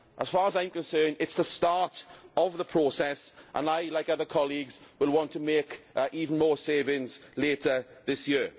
As far as I am concerned, it is the start of the process, and I like other colleagues will want to make even more savings later this year.